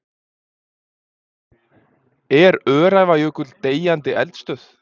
Er Öræfajökull deyjandi eldstöð?